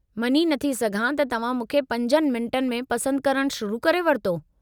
मञी नथी सघां त तव्हां मूंखे 5 मिंटनि में पसंदि करणु शुरु करे वरितो।